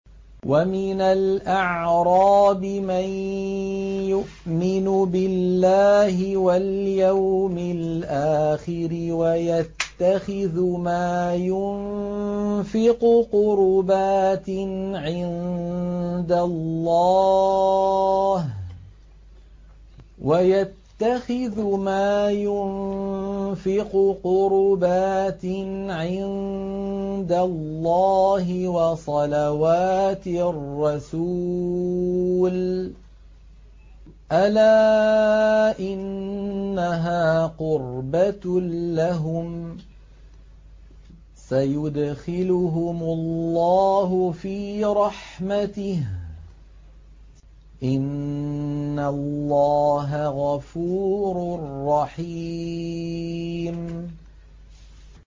وَمِنَ الْأَعْرَابِ مَن يُؤْمِنُ بِاللَّهِ وَالْيَوْمِ الْآخِرِ وَيَتَّخِذُ مَا يُنفِقُ قُرُبَاتٍ عِندَ اللَّهِ وَصَلَوَاتِ الرَّسُولِ ۚ أَلَا إِنَّهَا قُرْبَةٌ لَّهُمْ ۚ سَيُدْخِلُهُمُ اللَّهُ فِي رَحْمَتِهِ ۗ إِنَّ اللَّهَ غَفُورٌ رَّحِيمٌ